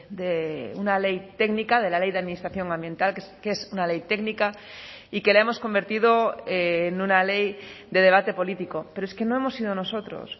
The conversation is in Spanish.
de una ley técnica de la ley de administración ambiental que es una ley técnica y que la hemos convertido en una ley de debate político pero es que no hemos sido nosotros